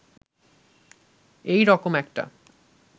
এই রকম একটা